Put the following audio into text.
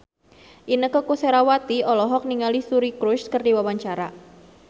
Inneke Koesherawati olohok ningali Suri Cruise keur diwawancara